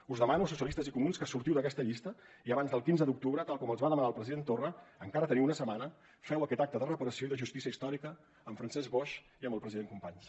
us demano socialistes i comuns que sortiu d’aquesta llista i abans del quinze d’octubre tal com els va demanar el president torra encara teniu una setmana feu aquest acte de reparació i de justícia històrica amb francesc boix i amb el president companys